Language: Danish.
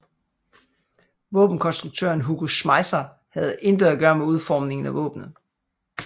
Våbenkonstruktøren Hugo Schmeisser havde intet at gøre med udformningen af våbenet